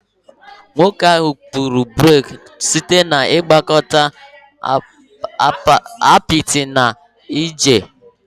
Nwoke ahụ kpụrụ brik site na ịgwakọta apịtị na ájá